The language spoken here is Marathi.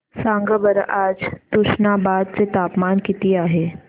सांगा बरं आज तुष्णाबाद चे तापमान किती आहे